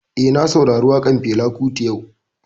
Eh, na saurari waƙan Fela Kuti yau